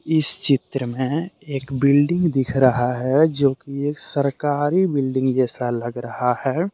इस चित्र में एक बिल्डिंग दिख रहा है जो की एक सरकारी बिल्डिंग जैसा लग रहा है।